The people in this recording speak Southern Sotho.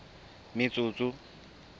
metsotso